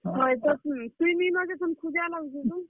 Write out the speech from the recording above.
ତୁଇ ନିଁ ନ ଯେ ତୋତେ ଖୁଜା ଲାଗୁଛେ ବୋ।